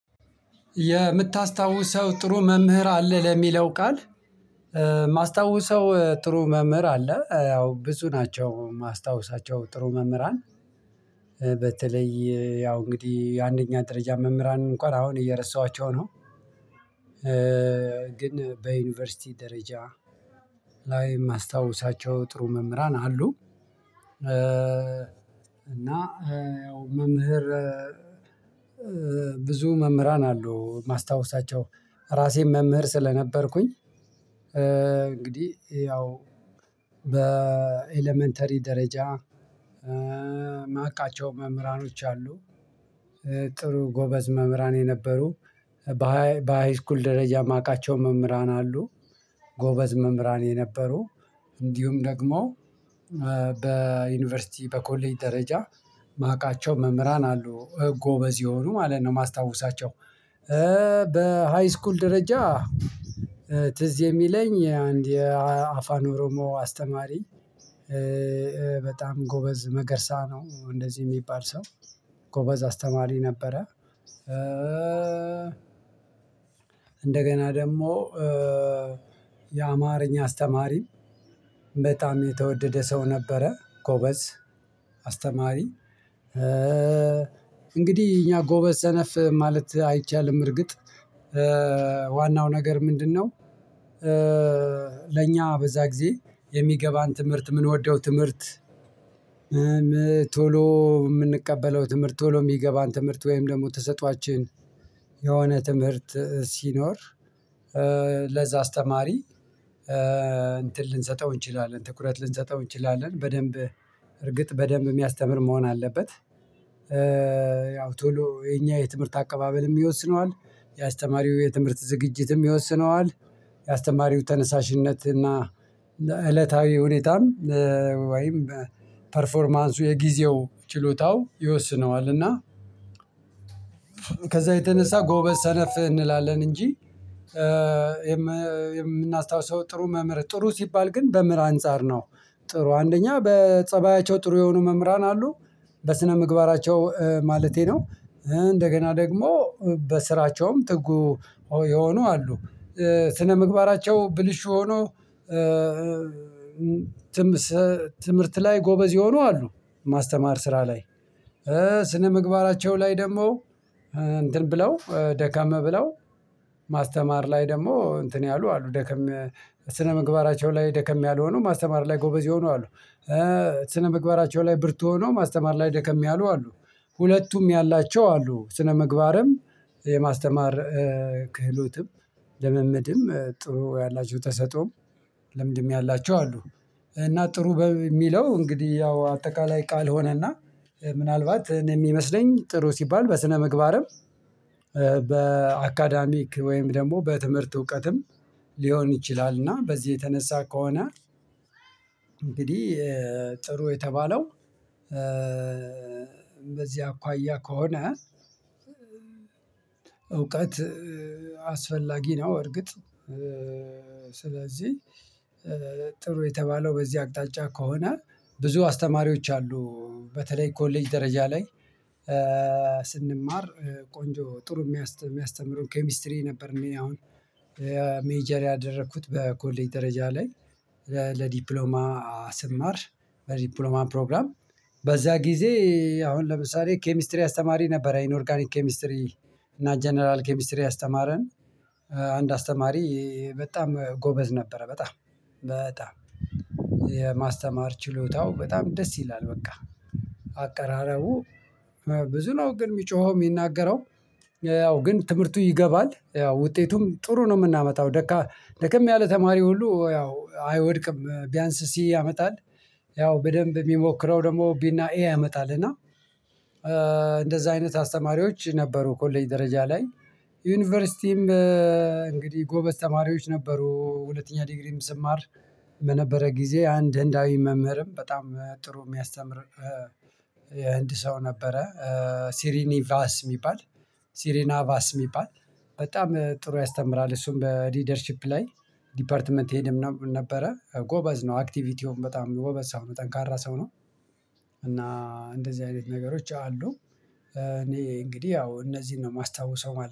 የምታስታውሰው ጥሩ መምህር አለ ለሚለው ቃል የማስታውሰው ጥሩ መምህር አለ ያው ብዙ ናቸው የማስታውሳቸው ጥሩ መምህር አለ። በተለይ ያው እንግዲህ የአንደኛ ደረጃ መምህራን እንኳን አሁን እየረሳኋቸው ነው። ግን በዩኒቨርሲቲ ደረጃ ላይ የማስታውሳቸው ጥሩ መምህራን አሉ። እና ያው መምህር ብዙ መምህራን አሉ ማስታወሳቸው ራሴም መምህር ስለነበርኩኝ እንግዲህ ያው በኤለመንተሪ ደረጃ ማቃቸው መምህራኖች አሉ። ጥሩ ጎበዝ መምህራን የነበሩ በሃይስኩል ደረጃ የማውቃቸው መምህራን አሉ። ጎበዝ መምህራን የነበሩ እንዲሁም ደግሞ በዩኒቨርሲቲ በኮሌጅ ደረጃ ማቃቸው መምህራን አሉ ጎበዝ የሆኑ ማለት ነው የማስታውሳቸው። በሃይስኩል ደረጃ ትዝ የሚለኝ አንድ የአፋን ኦሮሞ አስተማሪ በጣም ጎበዝ መገርሳ ነው እንደዚህ የሚባል ሰው ጎበዝ አስተማሪ ነበረ። እንደገና ደግሞ የአማርኛ አስተማሪም በጣም የተወደደ ሰው ነበረ። ጎበዝ አስተማሪ እንግዲህ እኛ ጎበዝ ሰነፍ ማለት አይቻልም እርግጥ ዋናው ነገር ምንድነው? ለእኛ በዛ ጊዜ የሚገባን ትምህርት የምንወደው ትምህርት ቶሎ የምንቀበለው ትምህርት ቶሎ የሚገባን ትምህርት ወይም ደግሞ ተሰጥኦአችን የሆነ ትምህርት ሲኖር ለዛ አስተማሪ እንትን ልንሰጠው እንችላለን ትኩረት ልንሰጠው እንችላለን በደንብ እርግጥ በደንብ የሚያስተምር መሆን አለበት። ያው ቶሎ የኛ የትምህርት አቀባበልም ይወስነዋል የአስተማሪው የትምህርት ዝግጅትም ይወስነዋል የአስተማሪው ተነሳሽነት እና እለታዊ ሁኔታም ወይም ፐርፎርማንሱ የጊዜው ችሎታው ይወስነዋል። እና ከዛ የተነሳ ጎበዝ ሰነፍ እንላለን እንጂ የምናስታውሰው ጥሩ መምህር ጥሩ ሲባል ግን በምራ አንፃር ነው። ጥሩ አንደኛ በፀባያቸው ጥሩ የሆኑ መምህራን አሉ በስነ ምግባራቸው ማለቴ ነው። እንደገና ደግሞ በስራቸውም ጥጉ የሆኑ አሉ። ስነምግባራቸው ብልሹ ሆኖ ትምህርት ላይ ጎበዝ የሆኑ አሉ። ማስተማር ስራ ላይ ስነምግባራቸው ላይ ደግሞ እንትን ብለው ደከም ብለው ማስተማር ላይ ደግሞ እንትን ያሉ አሉ ደከም ስነ ምግባራቸው ላይ ደከም ያልሆኑ ማስተማር ላይ ጎበዝ ይሆኑ አሉ። ስነ ምግባራቸው ላይ ብርቱ ሆኖ ማስተማር ላይ ደከም ያሉ አሉ። ሁለቱም ያላቸው አሉ ስነምግባርም የማስተማር ክህሎትም ልምምድም ጥሩ ያላችሁ ተሰጦም ለምድሜ ያላችሁ አሉ። እና ጥሩ በሚለው እንግዲህ ያው አጠቃላይ ቃል ሆነና ምናልባት የሚመስለኝ ጥሩ ሲባል በስነምግባርም በአካዳሚክ ወይም ደግሞ በትምህርት እውቀትም ሊሆን ይችላል እና በዚህ የተነሳ ከሆነ እንግዲህ ጥሩ የተባለው በዚህ አኳያ ከሆነ እውቀት አስፈላጊ ነው። እርግጥ ስለዚህ ጥሩ የተባለው በዚህ አቅጣጫ ከሆነ ብዙ አስተማሪዎች አሉ በተለይ ኮሌጅ ደረጃ ላይ። ቆንጆ ጥሩ የሚያስተምሩ ኬሚስትሪ ነበር እኔ አሁን ሜጀር ያደረኩት በኮሌጅ ደረጃ ላይ ለዲፕሎማ ስማር በዲፕሎማ ፕሮግራም በዛ ጊዜ አሁን ለምሳሌ ኬሚስትሪ አስተማሪ ነበር ኢንኦርጋኒክ ኬሚስትሪ እና ጀነራል ኬሚስትሪ ያስተማረን አንድ አስተማሪ በጣም ጎበዝ ነበረ። በጣም በጣም ችሎታው በጣም ደስ ይላል በቃ አቀራረቡ ብዙ ነው ግን የሚጮኸው የሚናገረው ያው ግን ትምህርቱ ይገባል ያው ውጤቱም ጥሩ ነው የምናመጣው። ደከም ያለ ተማሪ ሁሉ ያው አይወድቅም ቢያንስ ሲ ያመጣል ያው በደንብ የሚሞክረው ደግሞ ቢና ኤ ያመጣል እና። እንደዛ አይነት አስተማሪዎች ነበሩ ኮሌጅ ደረጃ ላይ ዩኒቨርሲቲም እንግዲህ ጎበዝ ተማሪዎች ነበሩ ሁለተኛ ዲግሪም ስማር በነበረ ጊዜ አንድ ህንዳዊ መምህርም በጣም ጥሩ የሚያስተምር የህንድ ሰው ነበረ። ሲሪኒ ቫስ የሚባል ሲሪና ቫስ የሚባል በጣም ጥሩ ያስተምራል እሱን በሊደርሺፕ ላይ ዲፓርትመንት ሄድም ነበረ ጎበዝ ነው አክቲቪቲውም በጣም ጎበዝ ሰው ነው ጠንካራ ሰው ነው። እና እንደዚህ አይነት ነገሮች አሉ እኔ እንግዲህ ያው እነዚህን ነው የማስታውሰው